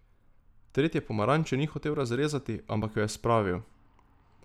Tretje pomaranče ni hotel razrezati, ampak jo je spravil.